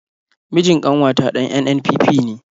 Mijin ƙanwata ɗan NNPP ne.